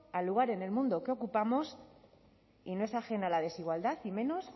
a lugar en el mundo que ocupamos y no es ajena a la desigualdad y menos